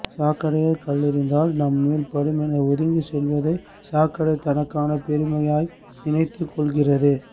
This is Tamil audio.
சாக்கடையில் கல்லெறிந்தால் நம் மேல் படும் என ஒதுங்கிச் செல்வதை சாக்கடை தனக்கான பெருமையாய் நினைத்துக் கொள்கிறது